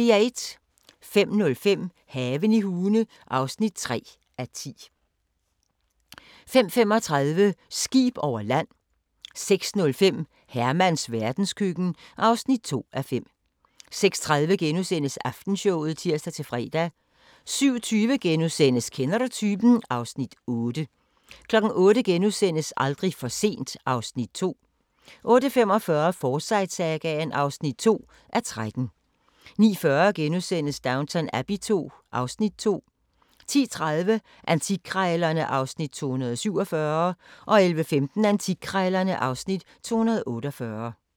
05:05: Haven i Hune (3:10) 05:35: Skib over land 06:05: Hermans verdenskøkken (2:5) 06:30: Aftenshowet *(tir-fre) 07:20: Kender du typen? (Afs. 8)* 08:00: Aldrig for sent (Afs. 2)* 08:45: Forsyte-sagaen (2:13) 09:40: Downton Abbey II (Afs. 2)* 10:30: Antikkrejlerne (Afs. 247) 11:15: Antikkrejlerne (Afs. 248)